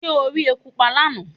Ṣé o rí eku pa lánàá?